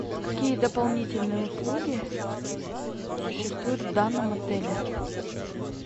какие дополнительные услуги существуют в данном отеле